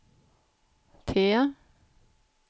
T